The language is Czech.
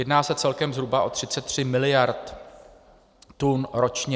Jedná se celkem zhruba o 33 mld. tun ročně.